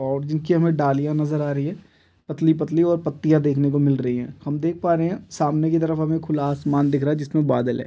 --और जिनकी हमें डलिया नजर आ रही है पतली-पतली और पत्तिया देखने को मिल रही है हम देख पा रहे है सामने की तरफ हमें खुला आसमान दिख रहा है जिसमें बादल है।